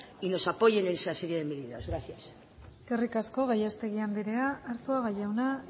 y nos apoyen en esa serie de medidas gracias eskerrik asko gallastegui andrea arzuaga jauna